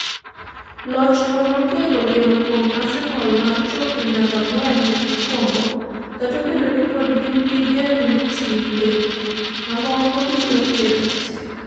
Lochno nokelo geno kuom Arsenal mar chopo e namba ang’wen mokwongo, kata obedo ni pod gin gi geno ni timbe mamoko biro kedo matek.